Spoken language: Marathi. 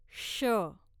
ष